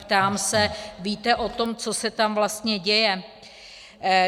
Ptám se: víte o tom, co se tam vlastně děje?